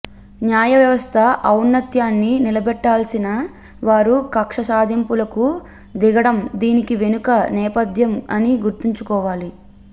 న్యాయవ్యవస్థ ఔన్నత్యాన్ని నిలబెట్టాల్సిన వారు కక్ష సాధింపులకు దిగడం దీని వెనుక నేపథ్యం అని గుర్తుంచుకోవాలి